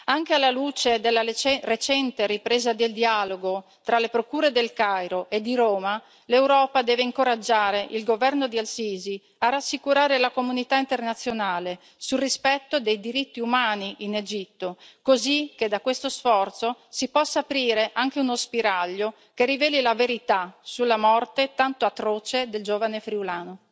Anche alla luce della recente ripresa del dialogo tra le procure del Cairo e di Roma, l'Europa deve incoraggiare il governo di al Sisi a rassicurare la comunità internazionale sul rispetto dei diritti umani in Egitto, così che da questo sforzo si possa aprire anche uno spiraglio che riveli la verità sulla morte tanto atroce del giovane friulano.